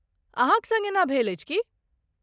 अहाँक सङ्ग एना भेल अछि की?